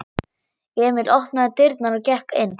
Emil opnaði dyrnar og gekk inn.